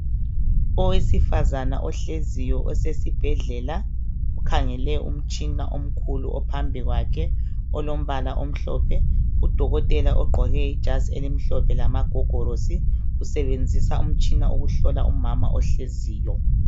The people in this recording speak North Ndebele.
Owesifazana ohleziyo osesibhedlela, ukhangele umtshina omkhulu ophambi kwakhe, olombala omhlophe. Udokotela ogqoke ijazi elimhlophe lamagogorosi. Usebenzisa umtshina ukuhlola umama ohleziyo.